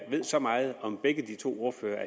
ved så meget om begge de to ordførere